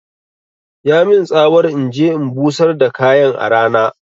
Ya min tsawar inje in busar da kayan a rana